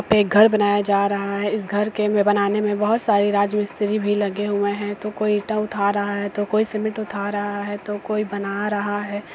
एक घर बनाया जा रहा है इस घर के में बनाने में बहुत सारे राजमिस्त्री भी लगे हुए हैं तो कोई ईटा उठा रहा है तो कोई सीमेंट उठा रहा है तो कोई बना रहा है।